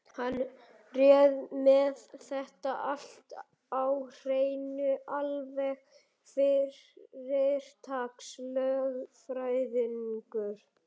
Hann er með þetta allt á hreinu, alveg fyrirtaks-lögfræðingur.